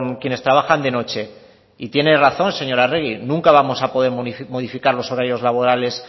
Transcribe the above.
quienes trabajan de noche y tiene razón señora arregi nunca vamos a poder modificar los horarios laborales